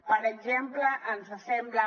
per exemple ens sembla